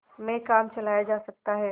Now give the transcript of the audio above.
में काम चलाया जा सकता है